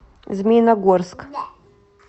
змеиногорск